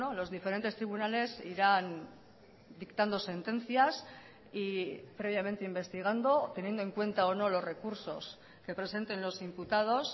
los diferentes tribunales irán dictando sentencias y previamente investigando teniendo en cuenta o no los recursos que presenten los imputados